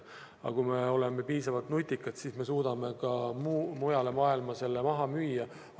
Aga kui me oleme piisavalt nutikad, siis me suudame ka mujale maailma selle toidu maha müüa.